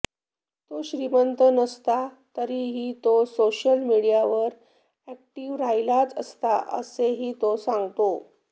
तो श्रीमंत नसता तरीही तो सोशल मिडीयावर अॅक्टीव्ह राहिलाच असता असेही तो सांगतो